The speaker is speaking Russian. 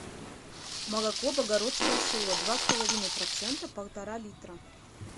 молоко богородское село два с половиной процента полтора литра